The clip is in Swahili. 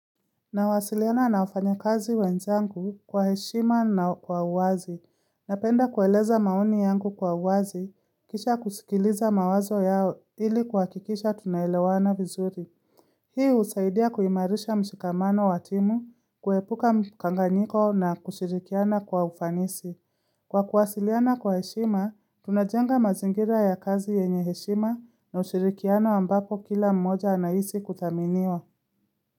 Nawasiliana na wafanya kazi wenzangu kwa heshima na kwa uwazi. Napenda kueleza maoni yangu kwa uwazi, kisha kusikiliza mawazo yao ili kuhakikisha tunaelewana vizuri. Hii husaidia kuimarisha mshikamano wa timu, kuepuka mkanganyiko na kushirikiana kwa ufanisi. Kwa kuwasiliana kwa heshima, tunajenga mazingira ya kazi yenye heshima na ushirikiano ambapo kila mmoja anahisi kuthaminiwa.